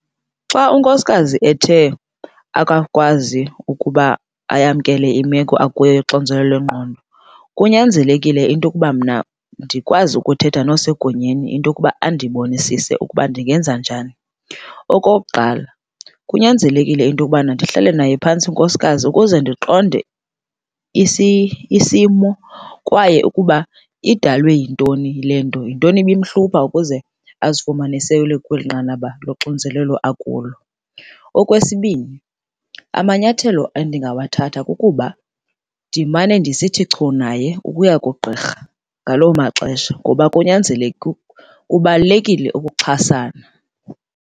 Xa unkosikazi ethe akakwazi ukuba ayamkela imeko akuyo yoxinzelelo lwengqondo, kunyanzelekile into yokuba mna ndikwazi ukuthetha nosegunyeni into yokuba andibonisise ukuba ndingenza njani. Okokuqala kunyanzelekile into yokubana ndihlale naye phantsi unkosikazi ukuze ndiqonde isimo kwaye ukuba idalwe yintoni le nto. Yintoni ibimhlupha ukuze azifumane sele kweli nqanaba loxinzelelo akulo? Okwesibini amanyathelo endingawathatha kukuba ndimane ndisithi chu naye ukuya kugqirha ngaloo maxesha ngoba kubalulekile ukuxhasana.